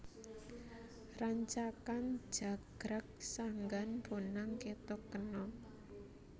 Rancakan jagrag sanggan bonang kethuk kenong